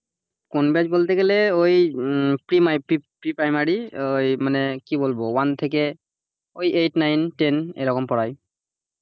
কোন batch বলতে গেলে ওই pre my pre primary ওই মানে কি বলবো one থেকে ওই eight, nine, ten এরকম পড়াই,